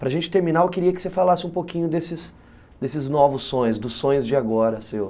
Para a gente terminar, eu queria que você falasse um pouquinho desses, desses novos sonhos, dos sonhos de agora seu.